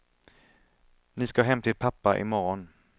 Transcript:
Ni ska hem till pappa imorgon.